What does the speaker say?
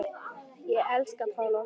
Ég elska Pál Óskar.